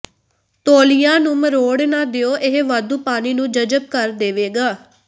ਤੌਲੀਆ ਨੂੰ ਮਰੋੜ ਨਾ ਦਿਓ ਇਹ ਵਾਧੂ ਪਾਣੀ ਨੂੰ ਜਜ਼ਬ ਕਰ ਦੇਵੇਗਾ